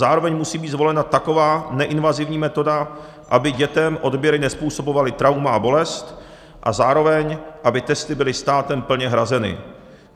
Zároveň musí být zvolena taková neinvazivní metoda, aby dětem odběry nezpůsobovaly trauma a bolest, a zároveň aby testy byly státem plně hrazeny.